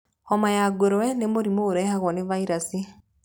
Homa ya ngũrwe nĩ mũrimũ ũrehagwo nĩ vairaci.